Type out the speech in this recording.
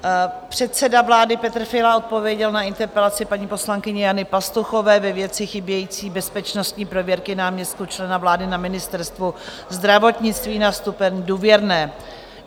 Předseda vlády Petr Fiala odpověděl na interpelaci paní poslankyně Jany Pastuchové ve věci chybějící bezpečnostní prověrky náměstků člena vlády na Ministerstvu zdravotnictví na stupeň důvěrné.